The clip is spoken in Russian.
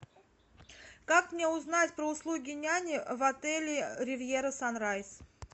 как мне узнать про услуги няни в отеле ривьера санрайз